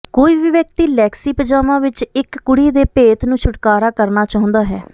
ਕੋਈ ਵੀ ਵਿਅਕਤੀ ਲੈਕਸੀ ਪਜਾਮਾ ਵਿੱਚ ਇੱਕ ਕੁੜੀ ਦੇ ਭੇਤ ਨੂੰ ਛੁਟਕਾਰਾ ਕਰਨਾ ਚਾਹੁੰਦਾ ਹੈ